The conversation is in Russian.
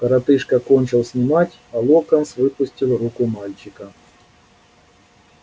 коротышка кончил снимать и локонс выпустил руку мальчика